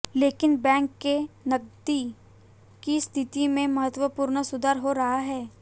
लेकिन बैंक के नकदी की स्थिति में महत्वपूर्ण सुधार हो रहा है